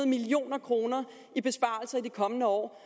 million kroner i besparelser i de kommende år